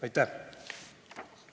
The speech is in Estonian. Aitäh!